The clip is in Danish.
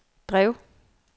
drev